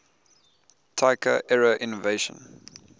taika era innovation